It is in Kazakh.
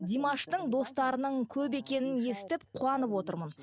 димаштың достарының көп екенін естіп қуанып отырмын